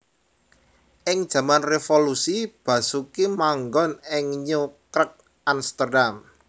Ing jaman revolusi Basoeki manggon ing New Kerk Amsterdam